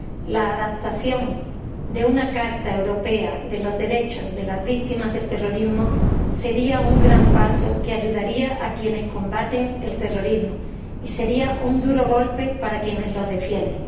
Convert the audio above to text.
La adopción de una carta europea de los derechos de las víctimas del terrorismo sería un gran paso que ayudaría a quienes combaten el terrorismo y sería un duro golpe para quienes lo defienden.